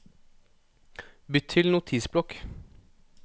Bytt til Notisblokk